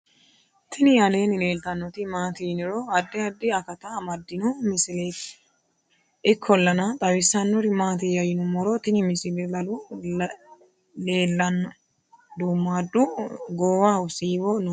tini aleenni leeltannoti maati yiniro addi addi akata amaddino misileeti ikkollana xawissannori maatiyya yinummoro tini misile lalu leellannoe duummadu goowaho siwo noori